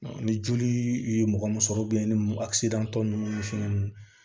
Ni joli ye mɔgɔ mun sɔrɔ ni a tɔ nunnu ni fɛn nunnu